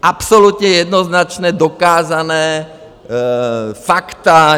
Absolutně jednoznačně dokázaná fakta.